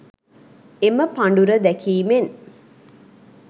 එම පඬුර දැකීමෙන්